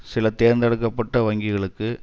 சில தேர்ந்தெடுக்க பட்ட வங்கிகளுக்கு